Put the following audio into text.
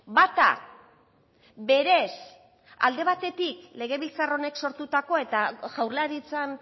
bata berez alde batetik legebiltzar honek sortutako eta jaurlaritzan